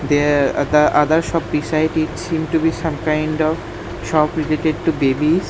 There a the others shop beside it seem to be some kind of shop related to babies.